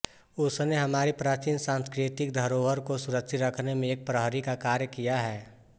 उसने हमारी प्राचीन सांस्कृतिक धरोहर को सुरक्षित रखने में एक प्रहरी का कार्य किया है